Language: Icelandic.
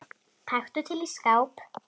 Taktu til í skáp.